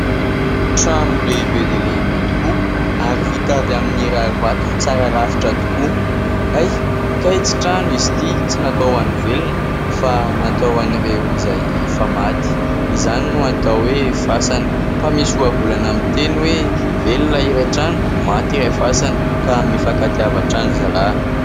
Trano lehibe dia lehibe tokoa ary vita avy amin'ny rarivato tsara rafitra tokoa. Hay ! Kay tsy trano izy ity ! Tsy natao ho an'ny velona ; fa natao ho an'ireo izay efa maty, izany no atao hoe : fasana. Fa misy ohabolana miteny hoe : "Velona iray trano ; maty iray fasana". Ka mifankatiava hatrany ry zalahy !